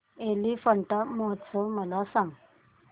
एलिफंटा महोत्सव मला सांग